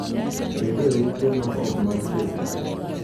Bed e ute ma ok mag sirkal.